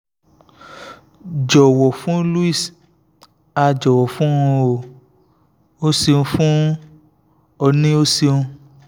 jọwọ fun luis a jọwọ fun o o ṣeun fun ọ ni o ṣeun